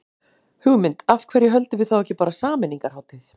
Hugmynd, af hverju höldum við þá ekki bara sameiningarhátíð.